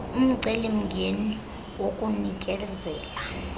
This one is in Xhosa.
umceli mngeni wokunikezela